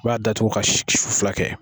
I b'a datugu ka su fila kɛ.